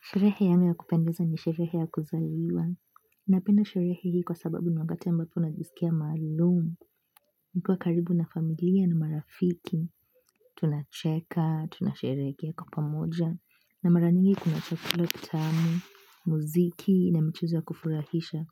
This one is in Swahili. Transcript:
Sherehe yangu ya kupendeza ni sherehe ya kuzaliwa. Napenda sherehe hii kwa sababu ni wakati ambapo najisikia maalum. Nikiwa karibu na familia na marafiki tunacheka, tunasherehekea kwa pamoja. Na mara nyingi kuna chakula kitamu muziki na michezo ya kufurahisha